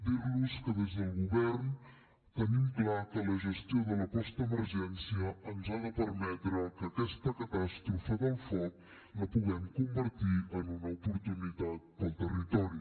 dir los que des del govern tenim clar que la gestió de la postemergència ens ha de permetre que aquesta catàstrofe del foc la puguem convertir en una oportunitat per al territori